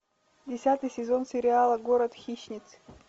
десятый сезон сериала город хищниц